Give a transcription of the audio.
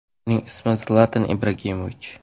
Uning ismi – Zlatan Ibragimovich.